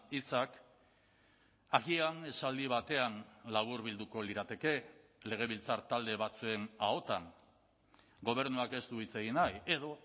hitzak agian esaldi batean laburbilduko lirateke legebiltzar talde batzen ahotan gobernuak ez du hitz egin nahi edo